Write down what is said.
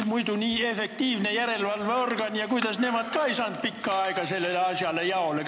Muidu nii efektiivne järelevalveorgan, kuidas nemad ka ei saanud pikka aega sellele asjale jaole?